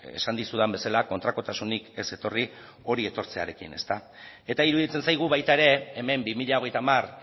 esan dizudan bezala kontrakotasunik ez etorri hori etortzearekin eta iruditzen zaigu baita ere hemen bi mila hogeita hamar